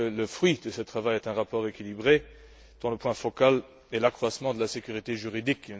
Je crois que le fruit de ce travail est un rapport équilibré dont le point focal est l'accroissement de la sécurité juridique.